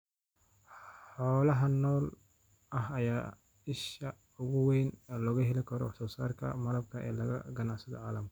Xoolaha nool ayaa ah isha ugu weyn ee laga helo wax soo saarka malabka ee laga ganacsado caalamka.